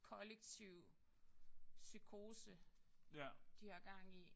Kollektiv psykose de har gang i